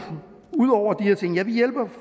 ud over de her ting ja vi hjælper